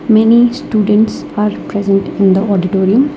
Many students are present in the auditorium.